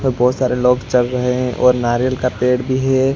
ये बहोत सारे लोग चल रहे है और नारियल का पेड़ भी है।